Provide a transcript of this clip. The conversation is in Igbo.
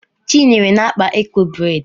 Chinyere na-akpa eko bredi